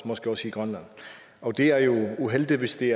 måske også i grønland og det er jo uheldigt hvis det